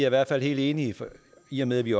i hvert fald helt enige i og med at vi